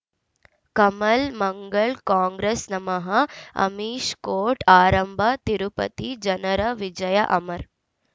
ಕಮಲ್ ಮಂಗಳ್ ಕಾಂಗ್ರೆಸ್ ನಮಃ ಅಮಿಷ್ ಕೋರ್ಟ್ ಆರಂಭ ತಿರುಪತಿ ಜನರ ವಿಜಯ ಅಮರ್